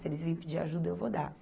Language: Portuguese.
Se eles vêm pedir ajuda, eu vou dar.